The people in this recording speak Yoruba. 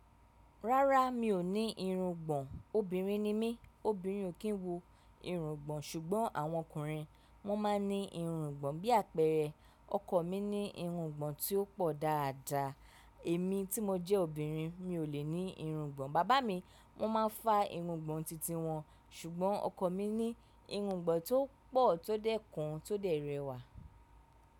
Rárá mi ò ní irungbọ̀n, obìnrin ni mí, obìnrin ò kí ń wo irungbọ̀n ṣùgbọ́n àwọn ọkùnrin wón máa ń ní irungbọ̀n bí àpẹẹrẹ ọkọ mi ní irungbọ̀n tí ó pọ̀ dáadáa. Èmi tí mo jẹ́ obìnrin mi ò lè ní irungbọ̀n, bàbá mi wọ́n máa ń fa irungbọ̀n titi wọ́n ṣùgbọ́n ọkọ mi ní irungbọ̀n tó pọ̀ tó dẹ́kun tó dẹ rẹwà.